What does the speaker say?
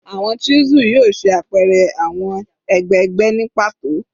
Awọn chisel yoo ṣe apẹrẹ awọn egbegbe ni pato